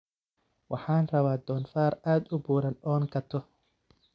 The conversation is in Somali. Waxan rawaa donfar aad uuburan oo katox.